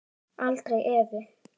Aldrei efi.